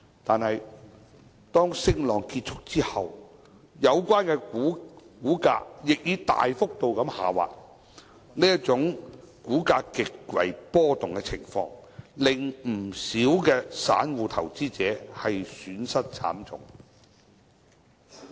但是，當升浪結束後，有關股價亦大幅度下滑，這種股價極為波動的情況，令不少散戶投資者損失慘重。